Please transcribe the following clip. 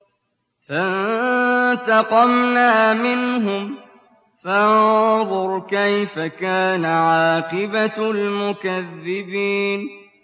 فَانتَقَمْنَا مِنْهُمْ ۖ فَانظُرْ كَيْفَ كَانَ عَاقِبَةُ الْمُكَذِّبِينَ